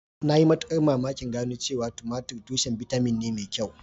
Na yi mamakin gano cewa tumatir tushen bitamin ne mai kyau